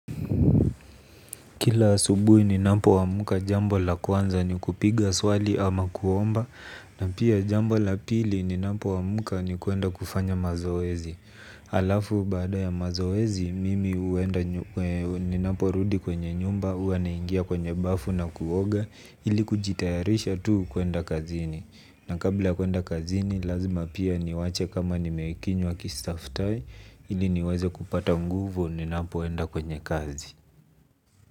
Kila asubuhi ninapoamka jambo la kwanza ni kupiga swali ama kuomba na pia jambao la pili ninapo amka ni kwenda kufanya mazoezi halafu baada ya mazoezi mimi huenda ninaporudi kwenye nyumba huwa naingia kwenye bafu na kuoga ili kujitayarisha tu kwenda kazini na kabla ya kwenda kazini lazima pia niache kama nimekunywa chai ili niweze kupata nguzu ninapoenda kwenye kazi.